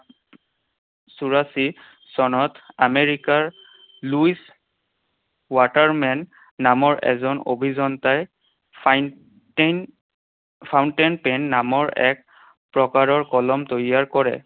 চৌৰাশী চনত আমেৰিকাৰ লুইছ ৱাটাৰমেন নামৰ এজন অভিযন্তাই fountain pen নামৰ এক প্ৰকাৰৰ কলম তৈয়াৰ কৰে।